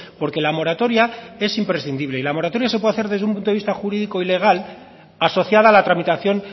porque la moratoria es imprescindible la moratoria se puede hacer desde un punto de vista jurídico y legal asociada a la tramitación